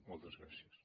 moltes gràcies